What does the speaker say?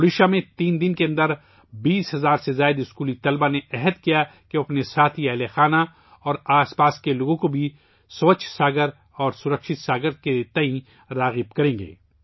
اڈیشہ میں، تین دنوں کے اندر 20 ہزار سے زیادہ اسکولی طلباء نے عہد لیا کہ وہ اپنے خاندان اور اپنے آس پاس کے لوگوں کو بھی ' سووچھ ساگر شرکشت ساگر ' کے لئے تحریک دلائیں گے